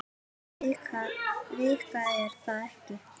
Vika er það ekki?